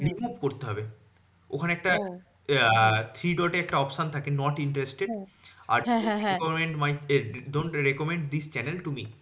Remove করতে হবে ওখানে একটা আহ three dot এ একটা option থাকে not interested আর do not recommend this channel to me